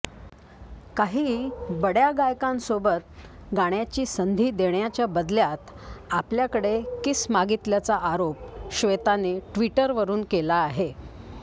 काही बड्या गायकांसोबत गाण्याची संधी देण्याच्या बदल्यात आपल्याकडे किस मागितल्याचा आरोप श्वेताने ट्विटरवरुन केला आहे